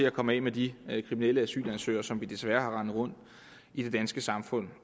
at komme af med de kriminelle asylansøgere som vi desværre har rendende rundt i det danske samfund